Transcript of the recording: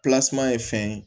ye fɛn ye